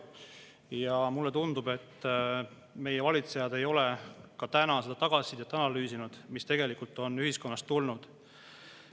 Ja mulle tundub, et meie valitsejad ei ole ka seda tagasisidet analüüsinud, mis on ühiskonnast tulnud.